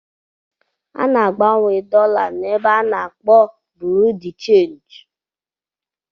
A ná-agbanwe dọla na-ébé a n'akpọ Bureau de change